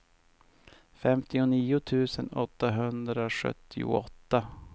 femtionio tusen åttahundrasjuttioåtta